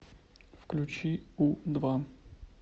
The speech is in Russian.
включи у два